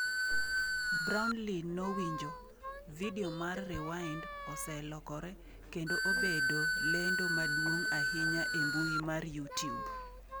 Brownlee nojiwo : “Vidio mar Rewind oselokore kedo obedo lendo maduong’ ahinya e mbui mar Youtube.”